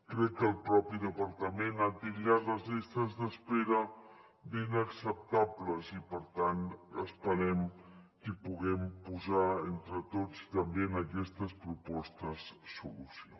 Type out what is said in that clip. crec que el propi departament ha titllat les llistes d’espera d’inacceptables i per tant esperem que hi puguem posar entre tots també en aquestes propostes solució